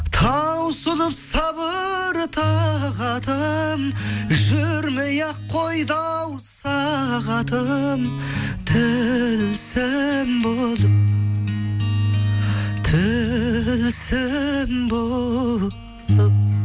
таусылып сабыр тағатым жүрмей ақ қойды ау сағатым болып тілсім болып